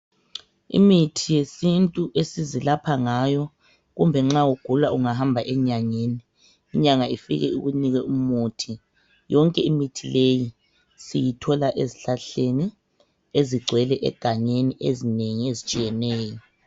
Imithi yesintu esizilapha ngayo kumbe nxa ugula ungahamba enyangeni ,inyanga ifike ikunike umuthi, yonke imithi leyi siyathola ezihlahleni ezigcwele egangeni ezitshiyeneyo.